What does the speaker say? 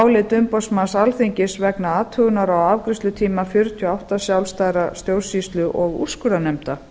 álit umboðsmanns alþingis vegna athugunar á afgreiðslutíma fjörutíu og átta sjálfstæðra stjórnsýslu og úrskurðarnefnda